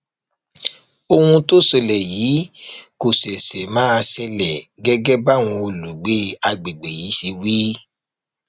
ohun tó ṣẹlẹ yìí kò ṣẹṣẹ máa ṣẹlẹ gẹgẹ báwọn olùgbé àgbègbè yìí ṣe wí